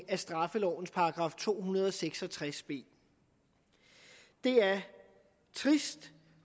af straffelovens § to hundrede og seks og tres b det er trist